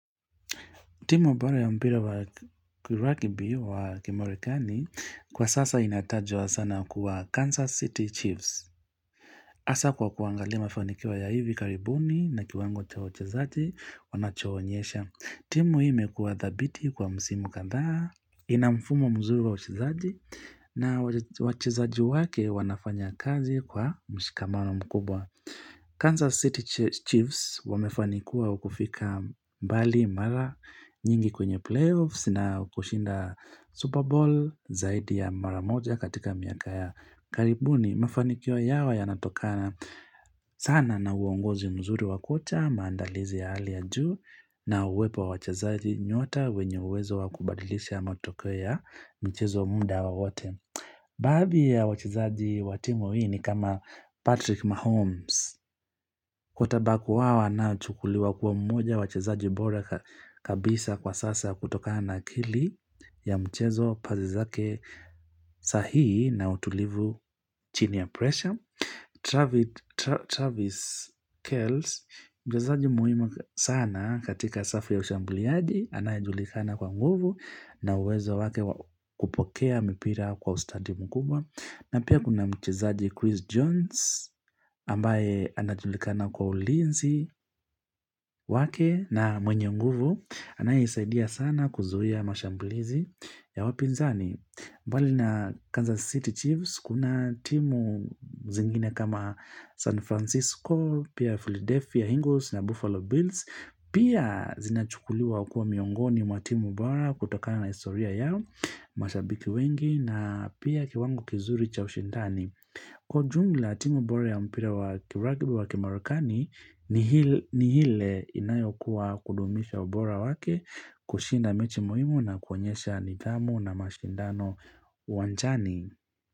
Timu bora ya mpira wa rugby wa kimarekani kwa sasa inatajwa sana kuwa Kansas City Chiefs. Hasa kwa kuangali mafanikio ya hivi karibuni na kiwango cha wachezaji wanacho onyesha. Timu hii imekua dhabiti kwa msimu kadhaa. Ina mfumo mzuri wa wachezaji na wachezaji wake wanafanya kazi kwa mshikamano mkubwa. Kansas City Chiefs wamefanikiwa kufika mbali mara nyingi kwenye playoffs na kushinda Super Bowl zaidi ya maramoja katika miaka ya karibuni. Mafaniko yao ya natokana sana na uongozi mzuri wa kocha, maandalizi ya hali juu na uwepo wa wachezaji nyota wenye uwezo wakubadilisha matokeo ya mchezo muda wowote. Baadhi ya wachezaji wa timu hii ni kama Patrick Mahomes. Quarter back wao anayechukuliwa kuwa mmoja wa wachezaji bora kabisa kwa sasa kutokana na akili ya mchezo pasi zake sahii na utulivu chini ya pressure. Travis Kells Mchezaji muhimu sana katika safu ya ushambuliaji anaye julikana kwa nguvu na uwezo wake wa kupokea mipira kwa ustadi mkubwa na pia kuna mchezaji Chris Jones ambaye anajulikana kwa ulinzi wake na mwenye nguvu anaye isaidia sana kuzuia mashambulizi ya wapinzani mbali na Kansas City Chiefs Kuna timu zingine kama San Francisco, pia Philadelphia, Ingles na Buffalo Bills, pia zinachukuliwa kua miongoni mwa timu bora kutokana na historia yao, mashabiki wengi, na pia kiwango kizuri cha ushindani. Kwa jumla timu bora ya mpira wa ki-rugby wa kimarekani ni ile inayo kuwa kudumisha ubora wake, kushinda mechi muhimu na kuonyesha nidhamu na mashindano uwanjani.